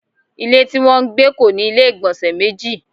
Ilé tí wọn ń gbé kò ní ilé igbonse méjì